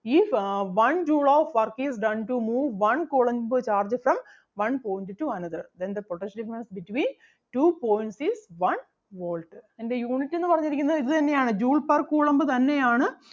If uh one joule of work is done to move one coulomb charge from one point to another then the potential difference between two points is one volt അതിൻ്റെ unit എന്ന് പറഞ്ഞിരിക്കുന്നത് ഇത് തന്നെ ആണ് joule per coulomb തന്നെ ആണ്